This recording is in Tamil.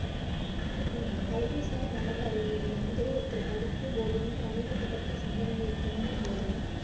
ஹம் கல்விசார் நரம்பு அறிவியல்ல வந்து ஒருத்தர் படிக்கும் போதும் கணிதத்தைப் பற்றிய சிந்தனைகள் தோன்றும் போதும்